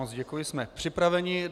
Moc děkuji, jsme připraveni.